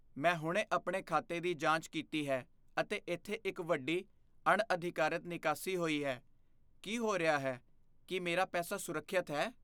ਮੈਂ ਹੁਣੇ ਆਪਣੇ ਖਾਤੇ ਦੀ ਜਾਂਚ ਕੀਤੀ ਹੈ ਅਤੇ ਇੱਥੇ ਇੱਕ ਵੱਡੀ, ਅਣਅਧਿਕਾਰਤ ਨਿਕਾਸੀ ਹੋਈ ਹੈ। ਕੀ ਹੋ ਰਿਹਾ ਹੈ? ਕੀ ਮੇਰਾ ਪੈਸਾ ਸੁਰੱਖਿਅਤ ਹੈ?